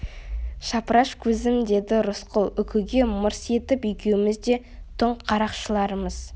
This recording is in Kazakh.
шапыраш көзім деді рысқұл үкіге мырс етіп екеуміз де түн қарақшыларымыз